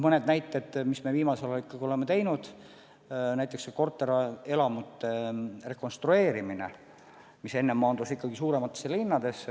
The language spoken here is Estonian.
Mõned näited, mida me viimasel ajal ikkagi oleme teinud: näiteks korterelamute rekonstrueerimine, mis enne piirdus vaid suuremate linnadega.